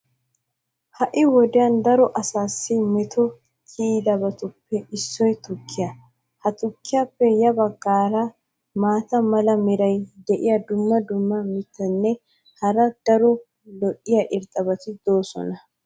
ha'i wodiyan daro asaassi meto kiyidabatuppe issoy tukkiya. ha tukkiyaappe ya bagaara maata mala meray diyo dumma dumma mitatinne hara daro lo'iya irxxabati beetoosona.